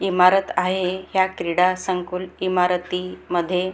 ईमारत आहे ह्या क्रीडा संकुल इमारतीमध्ये --